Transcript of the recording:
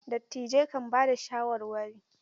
Dattijai kan ba da shawarwari.